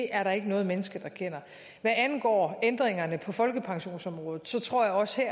er der ikke noget menneske der kender hvad angår ændringerne på folkepensionsområdet tror jeg også